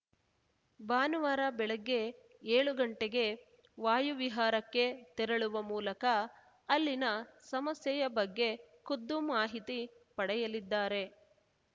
ಭಾನುವಾರ ಬೆಳಗ್ಗೆ ಏಳು ಗಂಟೆಗೆ ವಾಯುವಿಹಾರಕ್ಕೆ ತೆರಳುವ ಮೂಲಕ ಅಲ್ಲಿನ ಸಮಸ್ಯೆಯ ಬಗ್ಗೆ ಖುದ್ದು ಮಾಹಿತಿ ಪಡೆಯಲಿದ್ದಾರೆ